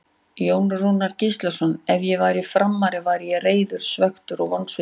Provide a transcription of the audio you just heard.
Jón Rúnar Gíslason Ef ég væri Framari væri ég reiður, svekktur og vonsvikinn.